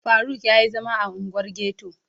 Faruk ya yi zama a unguwar ghetto